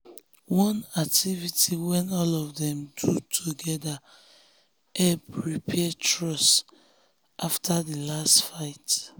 one activity wey all of dem do together help repair trust after di last fight.